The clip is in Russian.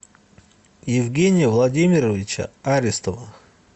евгения владимировича аристова